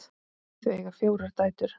Þau eiga fjórar dætur.